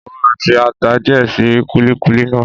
Mo máa fi ata díẹ̀ sí kúlíkúlí náà.